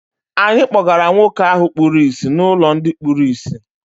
Anyị kpọgara nwoke ahụ kpuru ìsì n'ụlọ ndị kpuru ìsì.